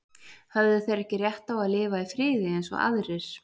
Höfðu þeir ekki rétt á að lifa í friði eins og aðrir?